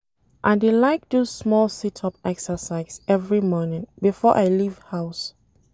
I dey like do small sit-up exercise every morning before I leave house.